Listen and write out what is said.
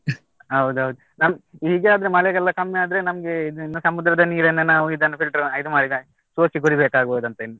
ಹೌದೌದು ನಮ್ದು ಹೀಗೇ ಆದ್ರೆ ಮಳೆಯೆಲ್ಲಾ ಕಮ್ಮಿ ಆದ್ರೆ ನಮ್ಗೆ ಇದು ಇನ್ನು ಸಮುದ್ರದ ನೀರನ್ನು ನಾವು ಇದನ್ನು filter ಇದು ಮಾಡಿದ್ರೆ ಆಯ್ತು, ಸೋಸಿ ಕುಡಿಬೇಕಾಗ್ಬೋದಂತ ಇನ್ನು.